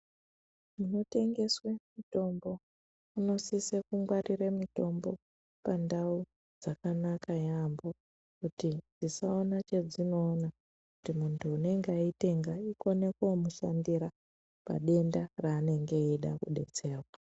Munotengeswe mitombo munosise kungwarire mutombo pandau dzakanaka yeyamho kuti isaona chedzinoona kuti muntu unenge aitenga ikone koomushandira padenda raanenge eida kudetserwa.